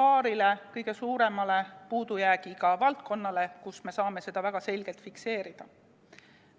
paarile kõige suuremale puudujäägiga valdkonnale, kus me saame seda väga selgelt fikseerida.